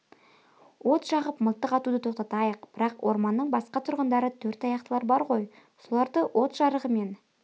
от жағып мылтық атуды тоқтатайық бірақ орманның басқа тұрғындары төрт аяқтылар бар ғой соларды от жарығымен